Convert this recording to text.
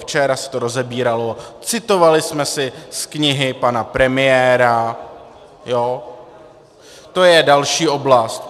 Včera se to rozebíralo, citovali jsme si z knihy pan premiéra, to je další oblast.